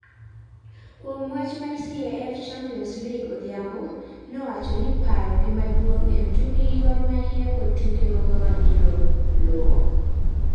Kuom wach mar Caf Champions League, Odhiambo nowacho ni paro gi maduong' en tukgi gi Gor Mahia kod tuke moko mabiro luwo.